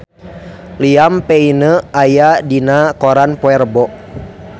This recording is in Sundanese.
Liam Payne aya dina koran poe Rebo